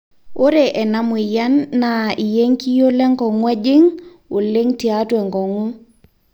ore ena mweyian naa iekiyio lenkong'u ejing oleng tiatua enkong'u